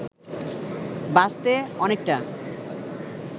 বাঁচতে অনেকটা